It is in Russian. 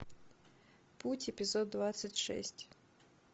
путь эпизод двадцать шесть